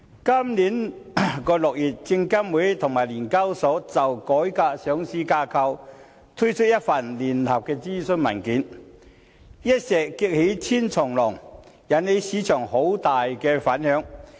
今年6月，證監會與聯交所就改革上市架構，推出了一份聯合諮詢文件，一石激起千重浪，引起市場很大的反響。